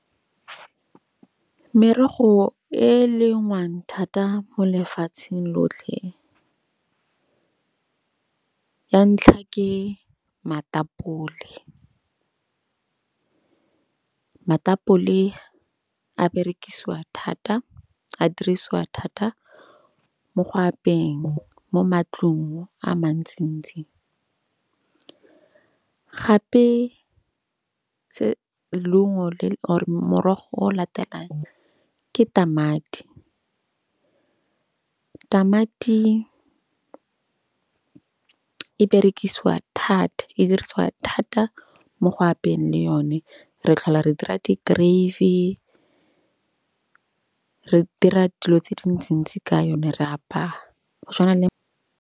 Merogo e lengwang thata mo lefatsheng lotlhe ya ntlha ke matapole. Matapole a berekisiwa thata. A dirisiwa thata mo go apeeng mo matlong a mantsi-ntsi. Gape tse or morogo o latelang ke tamati. Tamati e berekisiwa thata, e dirisiwa thata mo go apeeng le yone. Re tlhola re dira di-gravy. Re dira dilo tse dintsi-ntsi ka yone, re ya apaa go tshwana le.